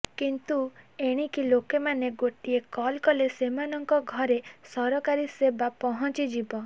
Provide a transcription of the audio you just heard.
କିନ୍ତୁ ଏଣିକି ଲୋକମାନେ ଗୋଟିଏ କଲ୍ କଲେ ସେମାନଙ୍କ ଘରେ ସରକାରୀ ସେବା ପହଞ୍ଚିଯିବ